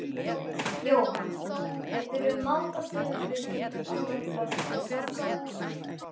Jóhann: Geturðu mátað þig við einhvern annan flokk til samstarfs?